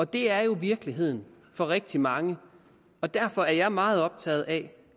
det er jo virkeligheden for rigtig mange og derfor er jeg meget optaget af